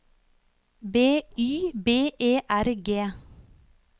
B Y B E R G